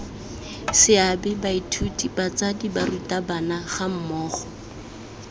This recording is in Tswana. seabe baithuti batsadi barutabana gammogo